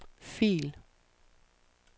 fil